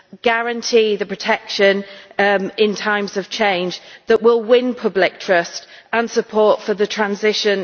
guarantee protection in times of change, that we will win public trust and support for the transition.